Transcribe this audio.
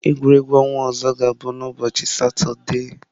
Egwuregwu ọnwa ọzọ ga-abụ n'ụbọchị Satọde.